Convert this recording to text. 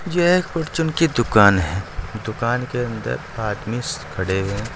यह एक फार्चून की दुकान है दुकान के अन्दर आदमी खड़े है।